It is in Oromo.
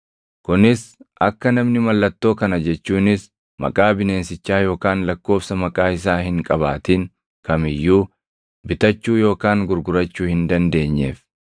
kunis akka namni mallattoo kana jechuunis maqaa bineensichaa yookaan lakkoobsa maqaa isaa hin qabaatin kam iyyuu bitachuu yookaan gurgurachuu hin dandeenyeef.